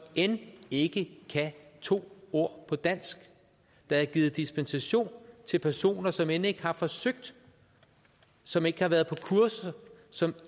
end ikke kan to ord på dansk der er givet dispensation til personer som end ikke har forsøgt som ikke har været på kursus som